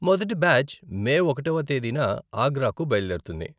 మొదటి batch May ఒకటవ తేదీన ఆగ్రాకు బయలుదేరుతుంది